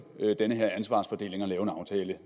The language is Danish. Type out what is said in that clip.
den her ansvarsfordeling og lave en aftale